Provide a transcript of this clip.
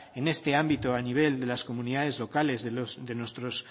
en este ámbito a nivel de las comunidades locales de nuestros